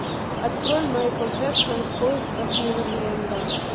открой майкл джексон в поисках неверленда